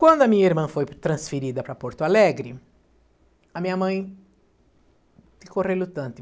Quando a minha irmã foi transferida para Porto Alegre, a minha mãe ficou relutante.